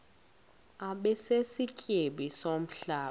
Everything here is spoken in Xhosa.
abe sisityebi somhlaba